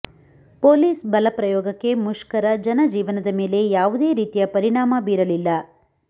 police ಬಲ ಪ್ರಯೋಗಕ್ಕೆ ಮುಷ್ಕರ ಜನ ಜೀವನದ ಮೇಲೆ ಯಾವುದೇ ರೀತಿಯ ಪರಿಣಾಮ ಬೀರಲಿಲ್ಲ